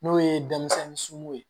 N'o ye denmisɛnninw ye